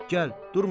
Gəl, durma.